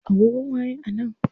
Agogon waye a nan?